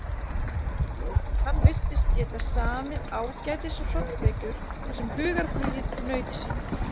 Hann virtist geta samið ágætis hrollvekjur þar sem hugarflugið naut sín.